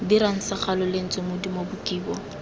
dirwang segalo lentswe modumo bokibo